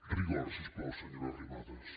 rigor si us plau senyora arrimadas